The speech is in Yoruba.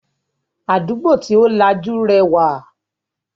Àdúgbò tí ó lajú rẹwà